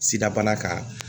Sida bana kan